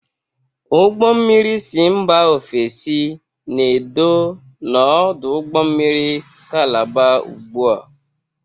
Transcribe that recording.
Ụgbọ mmiri si mba ofesi na-edo n'ọdụ ụgbọ mmiri Kalaba ugbua.